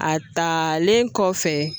A talen kɔfɛ